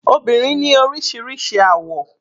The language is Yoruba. Obìnrin ni oríṣiríṣi àwọ̀.